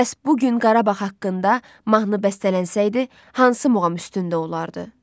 Bəs bu gün Qarabağ haqqında mahnı bəstələnsəydi, hansı muğam üstündə olardı?